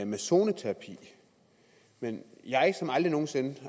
med zoneterapi men jeg har aldrig nogen sinde